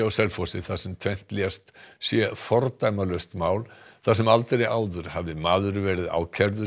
á Selfossi þar sem tvennt lést sé fordæmalaust mál þar sem aldrei áður hafi maður verið ákærður